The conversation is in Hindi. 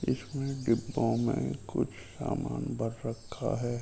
इसमें डिब्बों में कुछ सामान भर रखा है .